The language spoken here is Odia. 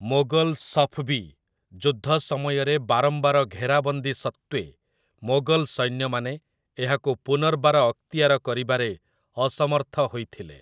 ମୋଗଲ ସଫ୍‌ବୀ ଯୁଦ୍ଧ ସମୟରେ ବାରମ୍ବାର ଘେରାବନ୍ଦୀ ସତ୍ତ୍ୱେ ମୋଗଲ ସୈନ୍ୟମାନେ ଏହାକୁ ପୁନର୍ବାର ଅକ୍ତିଆର କରିବାରେ ଅସମର୍ଥ ହୋଇଥିଲେ ।